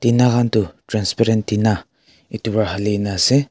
Tina khan toh transparent tina etu para hali kena ase.